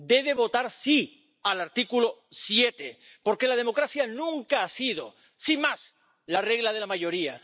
Debe votar sí al artículo 7 porque la democracia nunca ha sido, sin más, la regla de la mayoría.